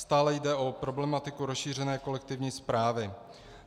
Stále jde o problematiku rozšířené kolektivní správy.